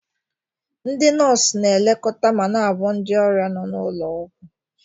Ndị nọọsụ na-elekọta ma na-agwọ ndị ọrịa n'ụlọ ọgwụ.